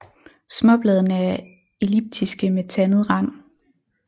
Småbladene er elliptiske med tandet rand